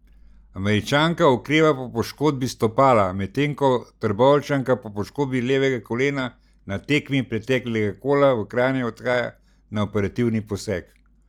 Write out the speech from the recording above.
Američanka okreva po poškodbi stopala, medtem ko Trboveljčanka po poškodbi levega kolena na tekmi preteklega kola v Kranju odhaja na operativni poseg.